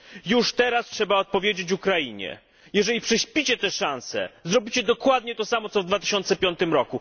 Już teraz trzeba odpowiedzieć Ukrainie jeżeli prześpicie tę szansę, zrobicie dokładnie to samo, co w 2005 r.,